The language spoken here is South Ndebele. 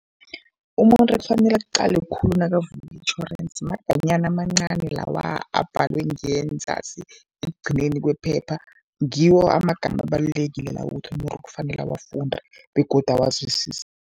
Umuntu ekufanele akuqale khulu nakavula itjhorensi, maganyana amancani lawa abhalwe ngenzasi ekugcineni kwephepha, ngiwo amagama abalulekile lawo ukuthi umuntu kufanele awafunde begodu awazwisise.